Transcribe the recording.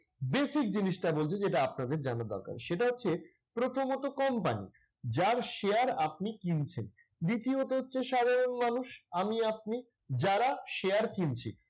basic জিনিসটা বলছি যেটা আপনাদের জানা দরকার। সেটা হচ্ছে প্রথমত company যার share আপনি কিনছেন। দ্বিতীয়ত হচ্ছে সাধারণ মানুষ, আমি আপনি যারা share কিনছি।